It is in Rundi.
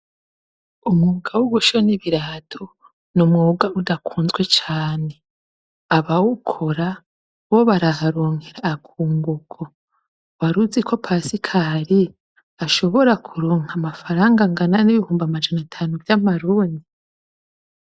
Umwuga wo gushona ibirato n’umwuga udakunzwe cane. Abawukora bo baraharonkera akunguko. War'uzi ko Pasikari ashobora kuronka amafaranga angana n'ibihumbi amajana atanu vy'amarundi?.